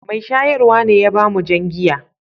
Mai shayarwa ne ya ba mu jan giya.